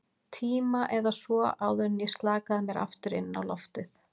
tíma eða svo, áður en ég slakaði mér aftur inn á loftið.